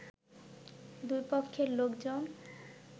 দুই পক্ষের লোকজন